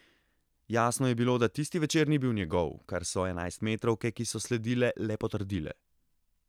Jasno je bilo, da tisti večer ni bil njegov, kar so enajstmetrovke, ki so sledile, le potrdile.